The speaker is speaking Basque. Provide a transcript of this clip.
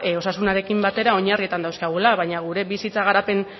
osasunarekin batera oinarrietan dauzkagula baina gure bizitza garapen